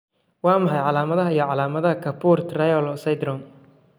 Waa maxay calaamadaha iyo calaamadaha Kapur Toriello syndrome?